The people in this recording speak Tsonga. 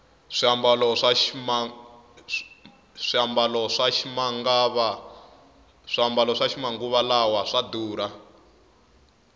swiambalo swa ximangava lawa swa durha